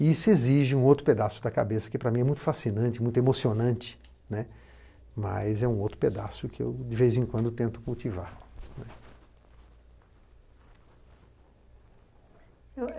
E isso exige um outro pedaço da cabeça, que para mim é muito fascinante, muito emocionante né, mas é um outro pedaço que eu, de vez em quando, tento cultivar.